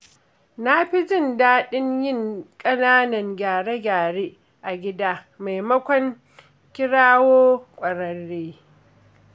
Na fi jin daɗin yin ƙananan gyare-gyare a gida maimakon kirawo ƙwararre.